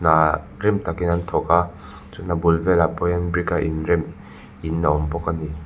ahh rim takin an thawk a chuan a bul velah pawh hian brick a inrem in a awmbawk ani.